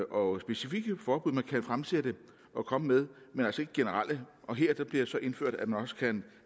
og specifikke forbud man kan fremsætte og komme med men altså ikke generelle og her bliver det så indført at man også kan